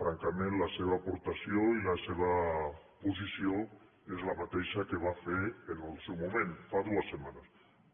francament la seva aportació i la seva posició és la mateixa que va fer en el seu moment fa dues setmanes